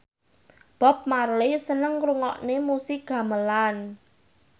Bob Marley seneng ngrungokne musik gamelan